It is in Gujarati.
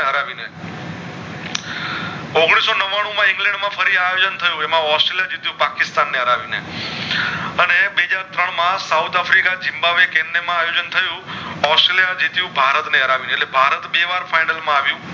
ઔગણીશ નવ્વાણું માં ઇંગ્લેન્ડ માં ફરી આયોજન થયું એમાં ઑસ્ટ્રેલિયા જીત્યું પાકિસ્તાન ને હરાવી ને અને બેજ ત્રણ માં સાઉથ આફ્રિકા આયોજન થયું ઑસ્ટ્રેલિયા જીત્યું ભારત ને હરાવી ને અને ભારત બે વાર final માં આવ્યું